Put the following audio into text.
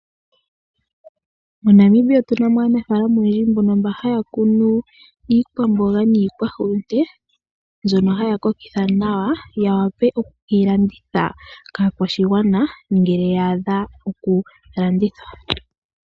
MoNamibia otu na mo aanafaalama oyendji mba haa kunu iikwamboga nosho woo iihulunde. Ohaye yi sile oshimpwiyu opo yi koke, ya wape oku keyi landitha kaakwashigwana uuna yaadha okulandithwa.